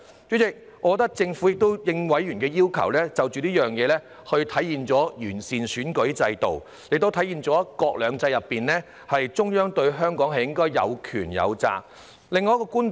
主席，我認為政府已經應委員的要求，實現完善選舉制度，也體現出在"一國兩制"之下，中央對香港應該有權、有責。